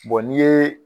n'i ye